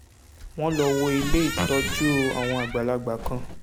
wọ́n lọ wo ilé ìtọ́jú àwọn àgbàlagbà kan